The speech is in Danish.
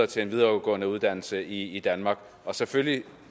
til en videregående uddannelse i danmark og selvfølgelig